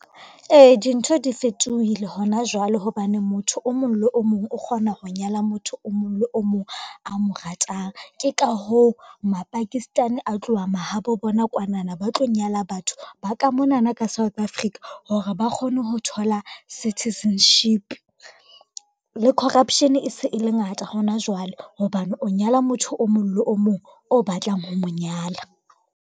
Ee, dintho di fetohile hona jwale hobane motho o mong le o mong o kgona ho nyala motho o mong le o mong a mo ratang. Ke ka hoo Mapakistani a tloha mahabo bona kwanana ba tlo nyala batho ba ka monana ka South Africa hore ba kgone ho thola citizenship. Le corruption e se e le ngata hona jwale hobane o nyala motho o mong le o mong o batlang ho mo nyala.